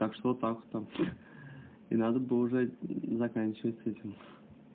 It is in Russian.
так что вот так там и надо бы уже заканчивать с этим